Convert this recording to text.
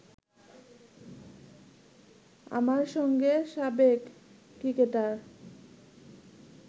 আমার সঙ্গে সাবেক ক্রিকেটার